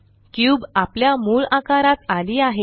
cube आपल्या मूळ आकारात आली आहे